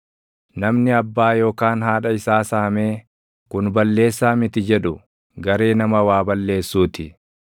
Namni abbaa yookaan haadha isaa saamee, “Kun balleessaa miti” jedhu garee nama waa balleessuu ti.